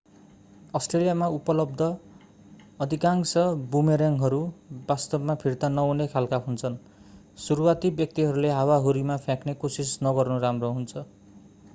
अष्ट्रेलियामा उपलब्ध अधिकांश बुमरेङ्गहरू वास्तवमा फिर्ता नहुने खालका हुन्छन् सुरुवाती व्यक्तिहरूले हावाहुरीमा फ्याँक्ने कोशिस नगर्नु राम्रो हुन्छ